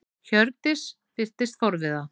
Hjördís virtist forviða.